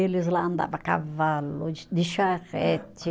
Eles lá andava a cavalo, de de charrete.